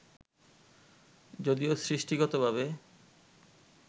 যদিও সৃষ্টিগতভাবে